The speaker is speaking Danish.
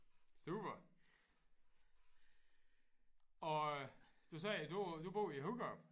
Super og øh du sagde du du bor i Hurup?